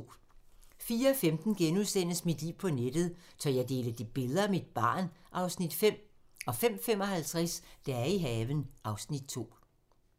04:15: Mit liv på nettet: Tør jeg dele billeder af mit barn? (Afs. 5)* 05:55: Dage i haven (Afs. 2)